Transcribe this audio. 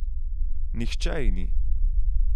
Nihče ji ni!